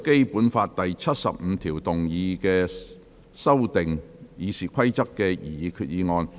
根據《基本法》第七十五條動議修訂《議事規則》的擬議決議案。